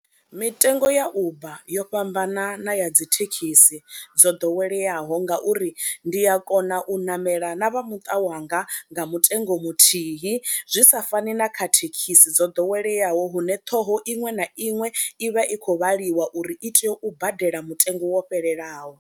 Mitengo ya Uber yo fhambanana ya dzi thekhisi dzo ḓoweleaho ngauri ndi a kona u ṋamela na vha muṱa wanga nga mutengo muthihi, zwi sa fani na kha thekhisi dzo ḓoweleaho hune ṱhoho iṅwe na iṅwe i vha i khou vhaliwa uri i tea u badela mutengo wo fhelelaho.